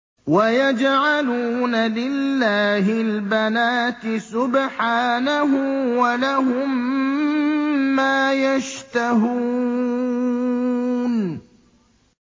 وَيَجْعَلُونَ لِلَّهِ الْبَنَاتِ سُبْحَانَهُ ۙ وَلَهُم مَّا يَشْتَهُونَ